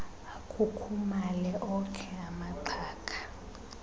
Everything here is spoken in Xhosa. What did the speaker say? akhukhumale okhe amaxhaga